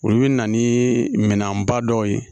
Olu bɛ na ni minɛnba dɔw ye